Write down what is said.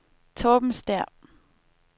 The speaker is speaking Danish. Torben Stæhr